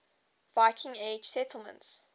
viking age settlements